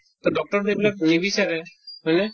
doctor য়েতো এইবিলাক নিবিচাৰে হয়নে ?